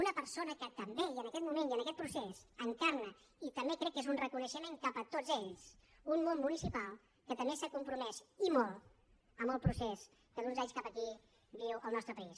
una persona que també i en aquest moment i en aquest procés encarna i també crec que és un reconeixement cap a tots ells un món municipal que també s’ha compromès i molt amb el procés que d’uns anys cap aquí viu el nostre país